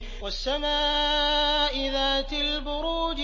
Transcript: وَالسَّمَاءِ ذَاتِ الْبُرُوجِ